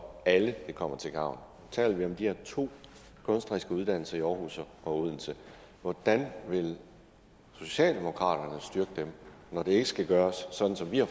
alle det kommer til gavn taler vi om de her to kunstneriske uddannelser i aarhus og odense hvordan vil socialdemokraterne så styrke dem når det ikke skal gøres sådan som vi har